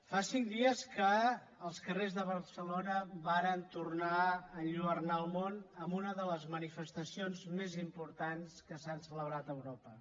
fa cinc dies que els carrers de barcelona varen tornar a enlluernar el món amb una de les manifestacions més importants que s’han celebrat a europa